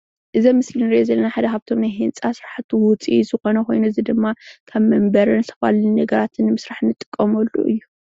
እዚ ኣብ ምስሊ እንርኦ ዘለና ሓደ ካብቶም ናይ ህንፃ ስራሕቲ ውፅኢት ዝኮነ ኮይኑ እዚ ድማ ከም መንበሪን ዝተፈላለዩ ነገራት ንምስራሕ እንጥቀመሉ እዩ፡፡